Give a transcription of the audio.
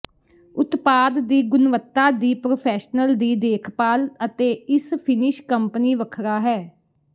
ਉਤਪਾਦ ਦੀ ਗੁਣਵੱਤਾ ਦੀ ਪ੍ਰੋਫੈਸ਼ਨਲ ਦੀ ਦੇਖਭਾਲ ਅਤੇ ਇਸ ਫਿੰਨਿਸ਼ ਕੰਪਨੀ ਵੱਖਰਾ ਹੈ